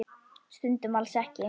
Stundum alls ekki.